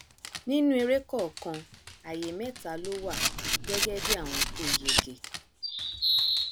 nínú eré kọọkan àyè mẹta ló wà gẹgẹ bí àwọn tó yege